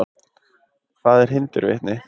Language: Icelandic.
Hvað eru hindurvitni?